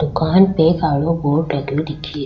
दुकान पे कालो बोर्ड लगयो दिख --